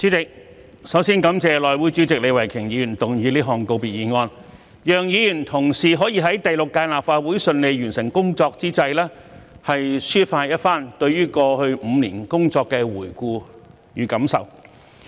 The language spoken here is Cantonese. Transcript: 主席，首先我感謝內務委員會主席李慧琼議員動議這項告別議案，讓議員同事可以在第六屆立法會順利完成工作之際，抒發一番對於過去5年工作的回顧與感受。